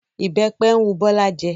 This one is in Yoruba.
Ìbẹ́pẹ ń wu Bọ́lá jẹ